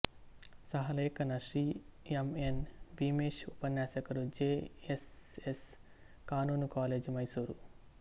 ಸಹ ಲೇಖನ Shri M N Bheemesh ಉಪನ್ಯಾಸಕರು ಜೆ ಎಸ್ ಎಸ್ ಕಾನೂನು ಕಾಲೇಜು ಮೈಸೂರು